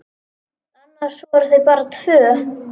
Annars voru þau bara tvö.